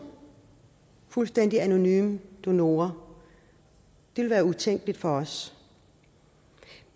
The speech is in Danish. fuldstændig anonyme donorer ville være utænkeligt for os